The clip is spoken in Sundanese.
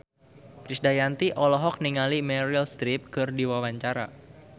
Krisdayanti olohok ningali Meryl Streep keur diwawancara